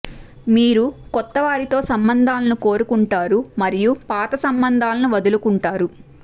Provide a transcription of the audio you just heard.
మీరు కొత్త వారితో సంబందాలను కోరుకుంటారు మరియు పాత సంబంధాలను వదులుకుంటారు